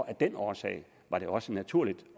af den årsag var det også naturligt